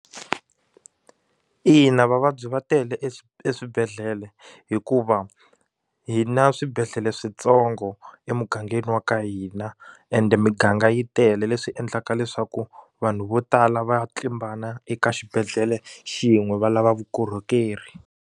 Ina vavabyi va tele eswibedhlele hikuva hi na swibedhlele switsongo emugangeni wa ka hina ende miganga yi tele leswi endlaka leswaku vanhu vo tala va ya tlimbana eka xibedhlele xin'we va lava vukorhokeri.